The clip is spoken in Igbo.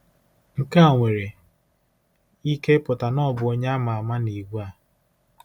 Nke a nwere ike ịpụta na ọ bụ onye a ma ama n'ìgwè a.